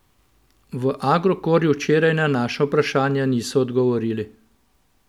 V Agrokorju včeraj na naša vprašanja niso odgovorili.